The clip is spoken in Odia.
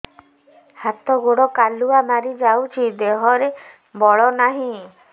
ହାତ ଗୋଡ଼ କାଲୁଆ ମାରି ଯାଉଛି ଦେହରେ ବଳ ନାହିଁ